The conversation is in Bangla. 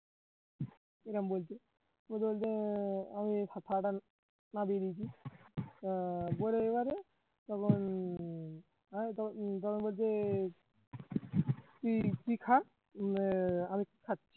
এরাম বলছে বলছে এর আমি আহ তখন বলছে তুই খা আমি থাক